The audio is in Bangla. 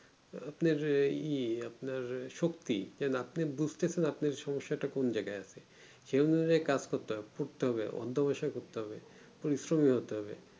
আহ আপনার ই আপনার শক্তি না আপনি যে বুজতেছেন আপনার সমস্যাটা কোন জায়গায় আছে সেই ভাবে কাজ করতে পারে ছোটতে হবে অন্ত পয়সা করতে হবে পরিশ্রমী হতে হবে